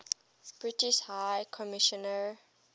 british high commissioner